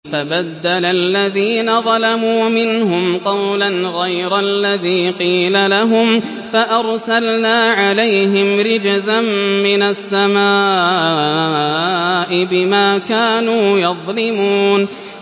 فَبَدَّلَ الَّذِينَ ظَلَمُوا مِنْهُمْ قَوْلًا غَيْرَ الَّذِي قِيلَ لَهُمْ فَأَرْسَلْنَا عَلَيْهِمْ رِجْزًا مِّنَ السَّمَاءِ بِمَا كَانُوا يَظْلِمُونَ